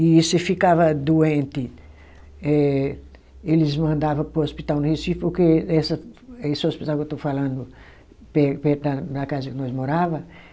e se ficava doente eh, eles mandava para o hospital no Recife porque essa, esse hospital que eu estou falando pe perto da da casa que nós morava